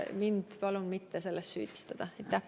Mind palun mitte selles süüdistada!